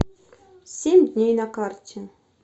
семь дней на карте